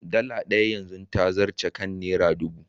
Dala ɗaya yanzu ta zarce kan Naira ɗubu.